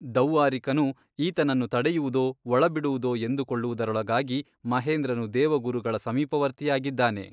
ದೌವ್ವಾರಿಕನು ಈತನನ್ನು ತಡೆಯುವುದೋ ಒಳಬಿಡುವುದೋ ಎಂದುಕೊಳ್ಳುವುದರೊಳಗಾಗಿ ಮಹೇಂದ್ರನು ದೇವಗುರುಗಳ ಸಮೀಪವರ್ತಿಯಾಗಿದ್ದಾನೆ.